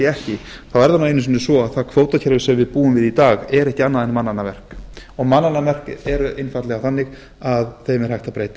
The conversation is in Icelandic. ekki þá er kvótakerfið sem við búum við í dag ekki annað en mannanna verk og mannanna verkum er hægt að breyta